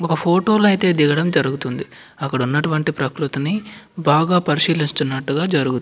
ఒక ఫోటో లైతే దిగడం జరుగుతుంది. అక్కడ ఉన్నటివి ప్రకృతిని బాగా పరిశీలనట్టుగా జరుగు --